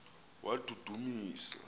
wadudumisa